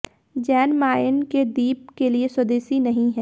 Jain Mayen के द्वीप के लिए स्वदेशी नहीं है